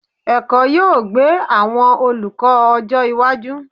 Ẹ̀kọ́ yóò gbé àwọn olùkọ́ ọjọ́ iwájú.